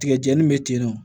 Tigɛjɛnii be tennɔ